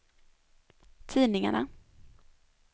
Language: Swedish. tidningarna